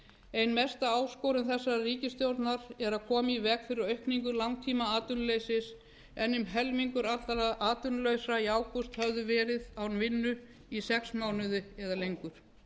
ein mesta áskorun þessarar ríkisstjórnar er að koma í veg fyrir aukningu langtímaatvinnuleysis en um helmingur allra atvinnulausra í ágúst höfðu verið án vinnu í sex mánuði eða lengur